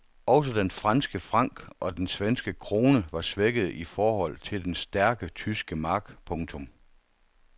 Også den franske franc og den svenske krone var svækkede i forhold til den stærke tyske mark. punktum